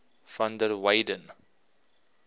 van der weyden